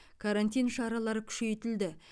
карантин шаралары күшейтілді